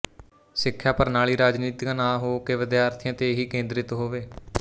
ਸਿੱਖਿਆ ਪ੍ਰ੍ਰਣਾਲੀ ਰਾਜਨੀਤਕ ਨਾ ਹੋ ਕੇ ਵਿਦਿਆਰਥੀਆਂ ਤੇ ਹੀ ਕੇਂਦਰਿਤ ਹੋਵੇ